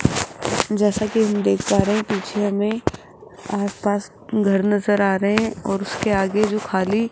जैसा कि हम देख पा रहे है पीछे हमें आसपास घर नजर आ रहे है और उसके आगे जो खाली --